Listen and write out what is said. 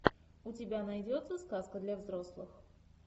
у тебя найдется сказка для взрослых